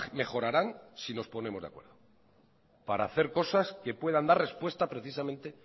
mejorarán si nos ponemos de acuerdo para hacer cosas que puedan dar respuesta precisamente